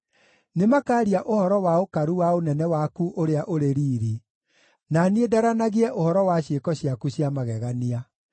Nĩmakaaria ũhoro wa ũkaru wa ũnene waku ũrĩa ũrĩ riiri, na niĩ ndaranagie ũhoro wa ciĩko ciaku cia magegania.